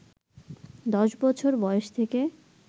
১০ বছর বয়স থেকে